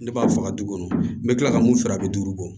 Ne b'a faga du kɔnɔ n bɛ kila ka mun feere a bɛ duuru bɔ